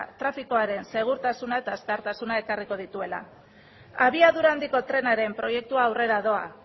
trafikoaren segurtasuna eta azkartasuna ekarriko dituela abiadura handiko trenaren proiektua aurrera doa